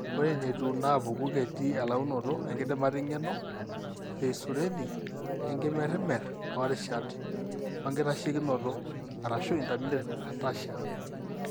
Ore ineetiu naapuku ketii elaunoto enkidimata eng'eno, iseizureni, enkimerimer toorishat, oenkitasheikinoto (intermittent ataxia).